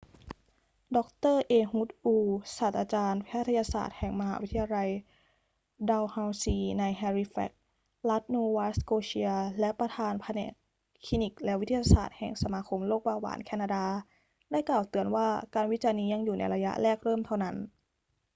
ดร เอฮุด อูร์ ศาสตราจารย์แพทยศาสตร์แห่งมหาวิทยาลัยดัลเฮาซีในแฮลิแฟกซ์ รัฐโนวาสโกเชีย และประธานแผนกคลินิกและวิทยาศาสตร์แห่งสมาคมโรคเบาหวานแคนาดาได้กล่าวเตือนว่าการวิจัยนี้ยังอยู่ในระยะแรกเริ่มเท่านั้น